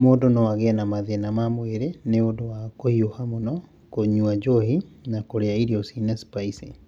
mũndũ no agĩe na mathĩna ma mwĩrĩ nĩ ũndũ wa kũhiũha mũno, kũnyua njohi, na kũrĩa irio irĩ na spicy.